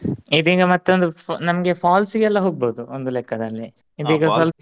ಇದೀಗ ಮತ್ತೊಂದ ಫ್~ ನಮ್ಗೆ falls ಗೆ ಎಲ್ಲಾ ಹೋಗಬಹುದು ಒಂದು ಲೆಕ್ಕದಲ್ಲಿ ಇದೀಗ .